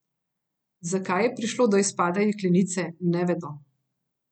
Zakaj je prišlo do izpada jeklenice, ne vedo.